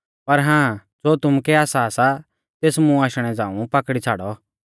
पर हां ज़ो तुमुकै आसा सा तेस मुं आशणै झ़ांऊ पाकड़ी छ़ाड़ौ